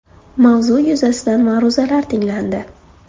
Mavzu yuzasidan ma’ruzalar tinglandi.